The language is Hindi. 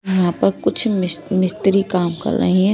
यहां पर कुछ मिस मिस्त्री काम कर रहें हैं।